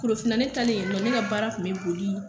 Korofina ne taalen yen nɔ ne ka baara tun bɛ boli